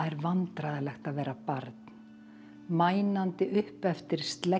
vandræðalegt að vera barn upp eftir